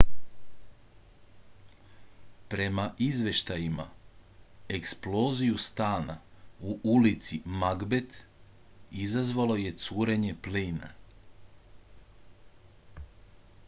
prema izveštajima eksploziju stana u ulici magbet izazvalo je curenje plina